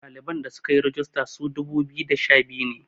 ɗaliban da suka yi regista su dubu biyu da sha biyu ne